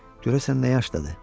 Görəsən nə yaşdadır?